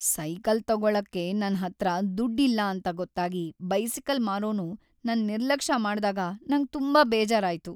Cycle ತಗೋಳಕ್ಕೆ ನನ್ ಹತ್ರ ದುಡ್ ಇಲ್ಲ ಅಂತ ಗೊತ್ತಾಗಿ ಬೈಸಿಕಲ್ ಮಾರೋನು ನನ್ ನಿರ್ಲಕ್ಷ ಮಾಡ್ದಾಗ ನಂಗ್ ತುಂಬಾ ಬೇಜಾರಾಯ್ತು.